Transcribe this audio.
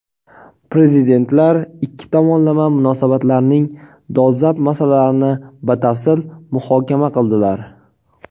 Prezidentlar ikki tomonlama munosabatlarning dolzarb masalalarini batafsil muhokama qildilar.